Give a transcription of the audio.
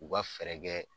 U ka fɛɛrɛ kɛ